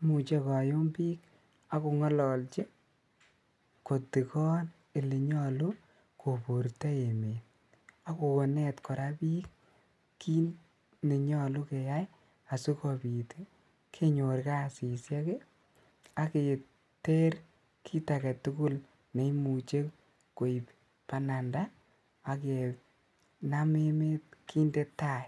imuche koyum bik ak kongololji kotikon elenyolu koburto emet ak konet koraa bik kit nenyolu keyai asikobit konyor kasisiek ii ak keter kit agetugul neimuche koib bananda ak kenam emet kinde tai